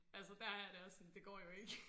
Altså der har jeg det også sådan det går jo ikke